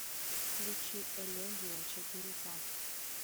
включи элегия четыре ка